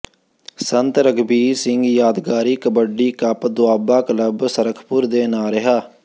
ਸੰਤ ਰਘਬੀਰ ਸਿੰਘ ਯਾਦਗਾਰੀ kabaddi cup Doaba club Sharakhpur ਦੇ ਨਾਂਅ ਰਿਹਾ